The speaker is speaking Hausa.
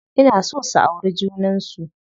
Ina so su auri junan su.